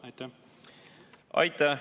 Aitäh!